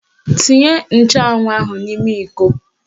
Tinye nchụanwụ ahụ n'ime iko